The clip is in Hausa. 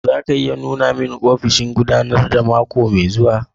Za ki iya nuna mun ofishin gudanarwa mako mai zuwa?